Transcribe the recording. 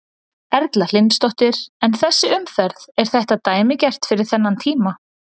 Erla Hlynsdóttir: En þessi umferð, er þetta dæmigert fyrir þennan tíma?